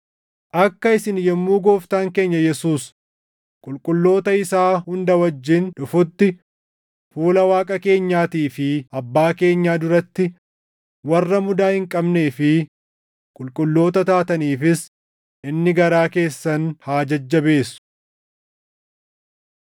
Akka isin yommuu Gooftaan keenya Yesuus qulqulloota isaa hunda wajjin dhufutti fuula Waaqa keenyaatii fi Abbaa keenyaa duratti warra mudaa hin qabnee fi qulqulloota taataniifis inni garaa keessan haa jajjabeessu.